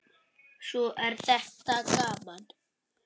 Svo er þetta gaman.